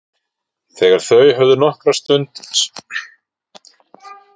Þegar þau höfðu nokkra stund setið spurði Grímur hvort Margrét vissi hver Björg væri.